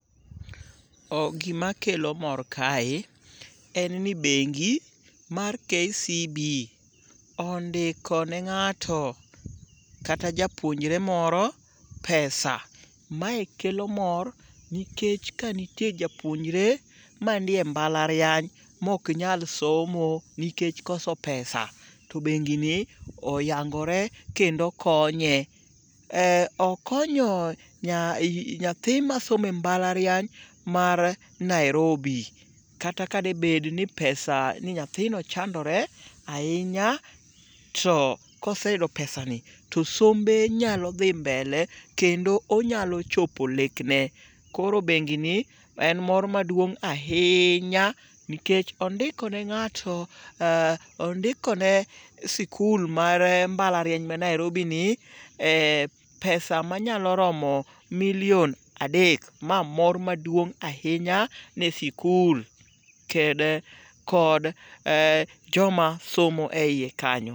Gimakelo mor kae en ni bengi mar KCB ondiko ne ng'ato kata japuonjre moro pesa. Mae kelo mor nikech kanitie japuonjre manie mbalariany mok nyal somo nikech koso pesa to bengini oyangore kendo konye. Okonyo nyathi masomo e mbalariany mar Nairobi. Kata ka de bed ni nyathino chandore ahinya to koseyudo pesani to sombe nyalo dhi mbele kendo onyalo chopo lekne. Koro bengi ni en mor maduong' ahinya nikech ondikone sikul mar mbalariany ma Nairobini pesa manyalo romo milion adek. Ma mor maduong' ahinya ne sikul kod jomasomo e iye kanyo.